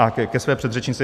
A ke své předřečnici: